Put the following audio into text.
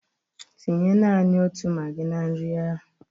Tinye nani otu magị na nri ahụ!